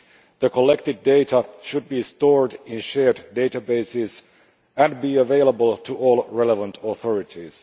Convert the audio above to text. The collected data should be stored in shared databases and be available to all relevant authorities.